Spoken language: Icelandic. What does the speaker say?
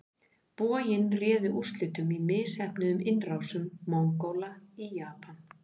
Boginn réði úrslitum í misheppnuðum innrásum Mongóla í Japan.